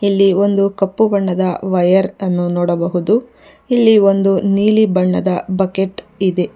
ಇಲ್ಲಿ ಒಂದು ಕಪ್ಪು ಬಣ್ಣದ ವೈರ್ ಅನ್ನು ನೋಡಬಹುದು ಇಲ್ಲಿ ಒಂದು ನೀಲಿ ಬಣ್ಣದ ಬಕೆಟ್ ಇದೆ.